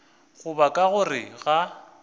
go ba ka gare ga